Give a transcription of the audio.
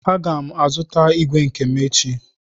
Aga m azụta ígwè nke m echi.